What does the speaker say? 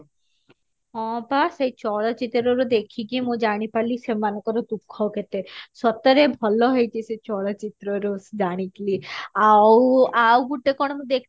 ହଁ ପା ସେଇ ଚଳଚିତ୍ର ରୁ ଦେଖିକି ମୁଁ ଜାଣିପାରିଲି ସେମାନଙ୍କର ଦୁଃଖ କେତେ ସତରେ ଭଲ ହେଇଛି ସେ ଚଳଚିତ୍ର ରୁ ଜାଣିଥିଲି ଆଉ ଆଉ ଗୁଟେ କଣ ମୁଁ ଦେଖି